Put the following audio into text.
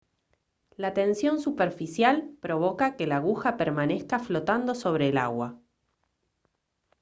la tensión superficial provoca que la aguja permanezca flotando sobre el agua